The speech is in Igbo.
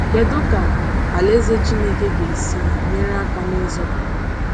Kedu ka Alaeze Chineke ga-esi nyere aka n’ịzọpụta?